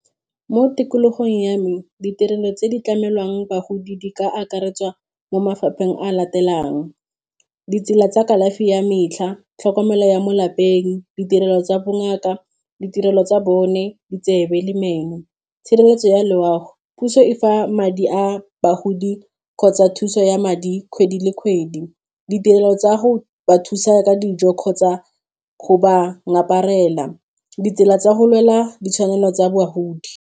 Mo tikologong ya me ditirelo tse di tlamelwang bagodi di ka akaretswa mo mafapheng a latelang ditsela tsa kalafi ya metlha, tlhokomelo ya mo lapeng, ditirelo tsa bongaka, ditirelo tsa bone di tsebe le meno, tshireletso ya loago puso e fa madi a bagodi kgotsa thuso ya madi kgwedi le kgwedi ditirelo tsa go ba thusa ka dijo kgotsa go ba ngaparela ditsela tsa go lwela ditshwanelo tsa bogodi.